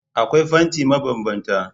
Akwai fanti mabanbanta